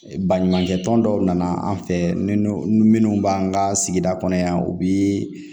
Baɲumankɛ tɔn dɔw nana an fɛ minnu b'an ka sigida kɔnɔ yan u bi